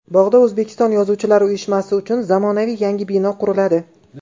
Bog‘da O‘zbekiston Yozuvchilar uyushmasi uchun zamonaviy yangi bino quriladi.